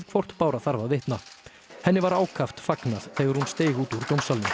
hvort Bára þarf að vitna henni var ákaft fagnað þegar hún steig út úr dómsalnum